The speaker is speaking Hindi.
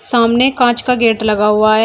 सामने कांच का गेट लगा हुआ है।